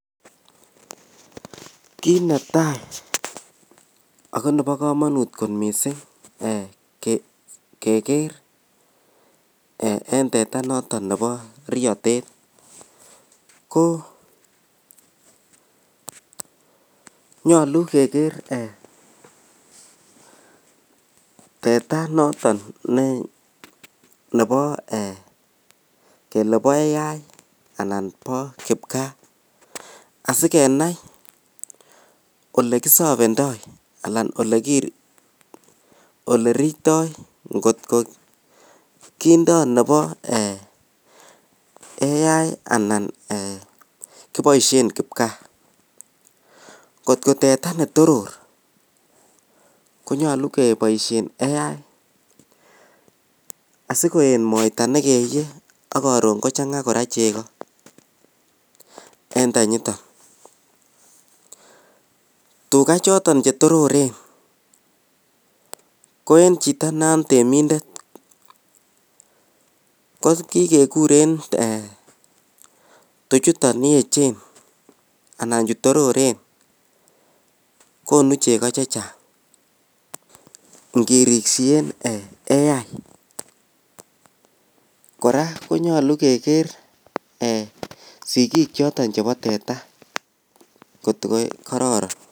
Kit netai ako Nebo kamanut kot mising kegeren teta noton Nebo riyatet ko nyalu keger teta noton nebo kele ba AI anan ba kibkaa asikenai olekiservendoi anan olekirisyoi kindo Nebo AI anan kibaishen kipkaa kot ko teta netoror konyalu kebaishen AI asikoyet moita nekeyie si koron kochanga koraa chego en tenyiton tuga choton chetororen Koen Chito natemindet kokakekuren tuchuton yechen anan chutororen konu chego chechang ngirisien AI koraa konyalu keger sikik choton chebo teta kot ko kararan